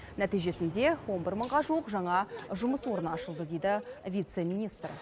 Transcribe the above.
нәтижесінде он бір мыңға жуық жаңа жұмыс орны ашылды дейді вице министр